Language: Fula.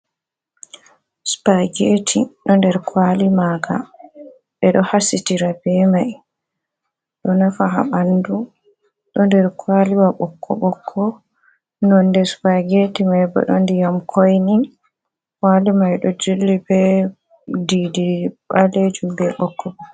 Supageetii, do nder kwali maaga ɓe do hasitira ɓe mai do nafa ha ɓandu do nder kwaliwa ɓokkoɓokko nonde supageetii mai bo do ndiyam koinii, kwali mai do jilli be baleejum be ɓokkoɓokko.